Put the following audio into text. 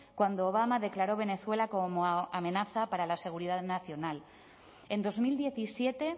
cuando obama declaró venezuela como amenaza para la seguridad nacional en dos mil diecisiete